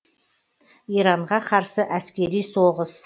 иранға қарсы әскери соғыс